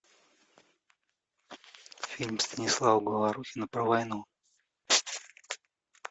фильм станислава говорухина про войну